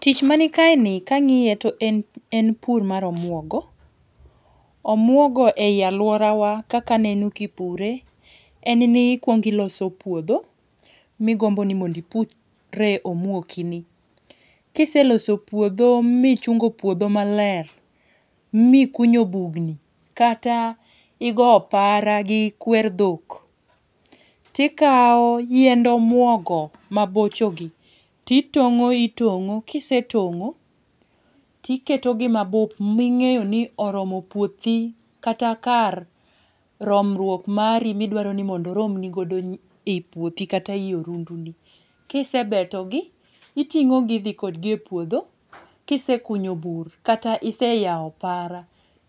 Tich man kaeni kang'iye to en pur mar omuogo. Omuogo ei aluorawa kaka aneno ipure en ni ikuongo iloso puodho ma igombo mondo ipurie omuokini. Ka iseloso puodho michungo puodho maler mikunyo bugni kata igoyo opara gi kwer dhok, to ikawo yiend omuogo mabochogi to itong'o itong'o kisetong'o to iketogi mabup ming'eyo ni oromo puothi kata kar romruok mari idwaro ni mondo oromni godo i puothi kata i orundu. Ka isebetogi, iting'o gi idhi kodgi e puodho, kisekunyo bur kata iseyawo kara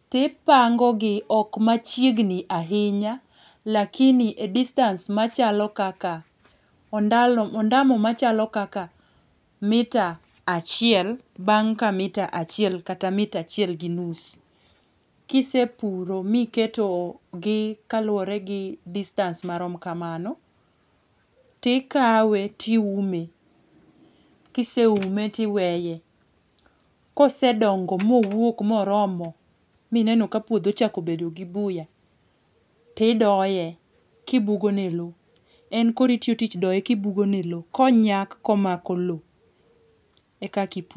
to ipango gi ok machiegni ahinya lakini distance machalo kaka ondalo ondamo machalo kaka mita achiel bang' ka mita achiel kata mita achiel gi nus. Ka isepuro ma iketogi kaluwore gi distance marom kamano, to ikawe to iume ka iseume to iweye kosedongo mowuok moromo ma ineno ka puodho ochsko bedo gi buya to idoye ka ibugo negi lowo. Ibugo negi klas komako lowo e kaka ipure.